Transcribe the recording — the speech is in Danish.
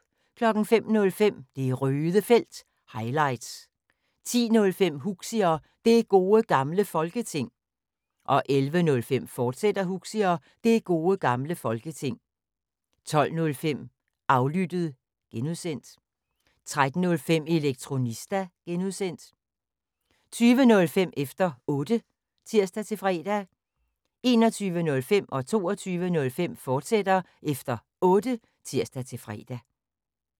05:05: Det Røde Felt – highlights 10:05: Huxi og Det Gode Gamle Folketing 11:05: Huxi og Det Gode Gamle Folketing, fortsat 12:05: Aflyttet (G) 13:05: Elektronista (G) 20:05: Efter Otte (tir-fre) 21:05: Efter Otte, fortsat (tir-fre) 22:05: Efter Otte, fortsat (tir-fre)